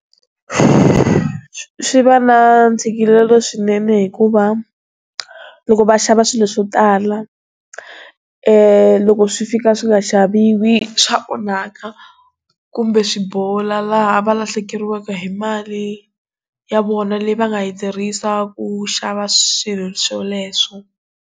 Swi va na ntshikelelo swinene hikuva loko va xava swilo swo tala loko swi fika swi nga xaviwi swa onhaka kumbe swi bola laha va lahlekeriwaka hi mali ya vona leyi va nga yi tirhisa ku xava swilo swoleswo.